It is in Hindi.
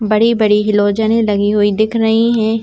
बड़ी बड़ी हिलोजने लगी हुई दिख रही है।